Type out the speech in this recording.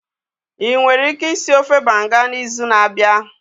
Ị nwere ike ịsị ofe Banga n'izu na-abịa?